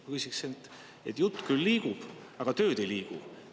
Ma ütleksin, et jutt küll liigub, aga tööd ei liigu.